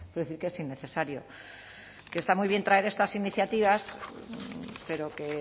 decir que es innecesario que está muy bien traer estas iniciativas pero que